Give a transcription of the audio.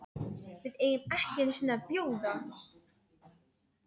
VIÐ EIGUM EKKI EINU SINNI AÐ BJÓÐA